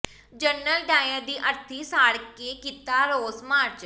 general Dyer ਦੀ ਅਰਥੀ ਸਾੜ ਕੇ ਕੀਤਾ ਰੋਸ ਮਾਰਚ